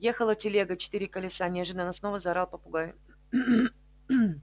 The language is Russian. ехала телега четыре колеса неожиданно снова заорал попугай